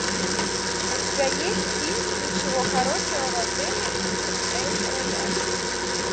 у тебя есть фильм ничего хорошего в отеле эль рояль